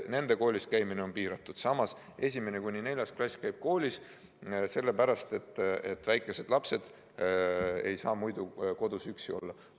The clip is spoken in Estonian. Nende koolis käimine on piiratud, samas kui 1.–4. klass käib koolis, sellepärast et väikesed lapsed ei saa kodus üksi olla.